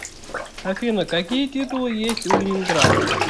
афина какие титулы есть у ленинград